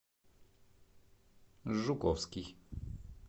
жуковский